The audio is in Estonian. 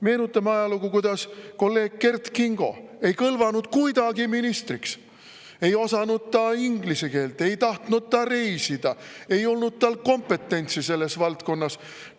Meenutame ajalugu, kuidas kolleeg Kert Kingo ei kõlvanud kuidagi ministriks: ei osanud ta inglise keelt, ei tahtnud ta reisida, ei olnud tal kompetentsi selles valdkonnas.